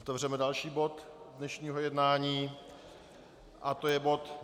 Otevřeme další bod dnešního jednání a je to bod